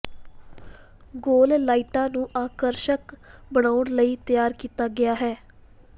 ਗੋਲ ਲਾਈਟਾਂ ਨੂੰ ਆਕਰਸ਼ਕ ਬਣਾਉਣ ਲਈ ਤਿਆਰ ਕੀਤਾ ਗਿਆ ਹੈ